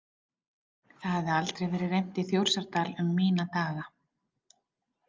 Það hafði aldrei verið reimt í Þórsárdal um mína daga.